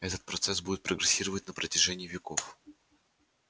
этот процесс будет прогрессировать на протяжении веков